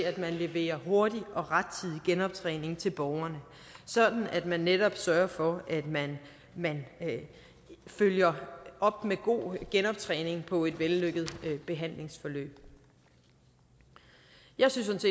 at man leverer hurtig og rettidig genoptræning til borgerne sådan at man netop sørger for at man man følger op med god genoptræning på et vellykket behandlingsforløb jeg synes